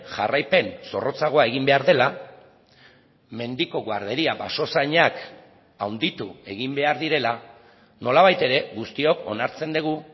jarraipen zorrotzagoa egin behar dela mendiko guarderia basozainak handitu egin behar direla nolabait ere guztiok onartzen dugu